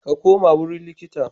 Ka koma wurin likita.